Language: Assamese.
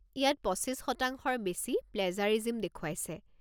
ইয়াত ২৫%-ৰ বেছি প্লেজাৰিজিম দেখুৱাইছে।